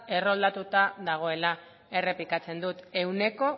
erroldatuta dagoela errepikatzen dut ehuneko